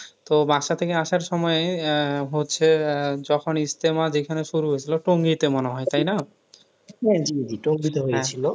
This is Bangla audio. তো বাসার থেকে আসার সময় আহ হচ্ছে আহ যখন ইজতেমা যেখানে শুরু হয়েছিল। টুঙ্গিতে মনে হয় তাই না?